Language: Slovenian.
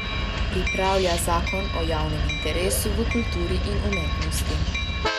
Pripravlja zakon o javnem interesu v kulturi in umetnosti.